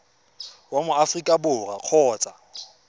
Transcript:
wa mo aforika borwa kgotsa